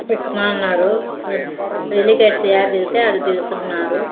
ఎక్కుతన్నారు helicopter యాడ దిగితే ఆడ దిగుతున్నారు.